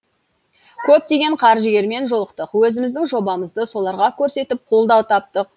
көптеген қаржыгермен жолықтық өзіміздің жобамызды соларға көрсетіп қолдау таптық